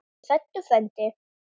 Ertu hræddur frændi?